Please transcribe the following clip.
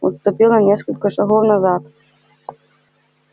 отступил на несколько шагов назад